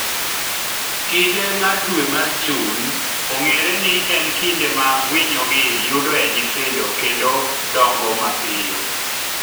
Kinde mar dwe mar Jun ong’ere ni en kinde ma winyogi yudoe nyithindo kendo dongo mapiyo.